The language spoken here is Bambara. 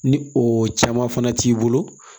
Ni o caman fana t'i bolo